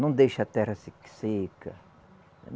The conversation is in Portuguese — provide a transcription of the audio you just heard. Não deixa a terra se seca.